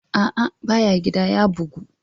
A'a, ba ya gida ya bugu.